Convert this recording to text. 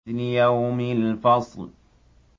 لِيَوْمِ الْفَصْلِ